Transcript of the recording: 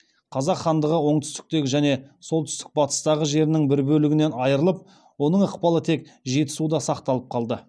қазақ хандығы оңтүстіктегі және солтүстік батыстағы жерінің бір бөлігінен айрылып оның ықпалы тек жетісуда сақталып қалды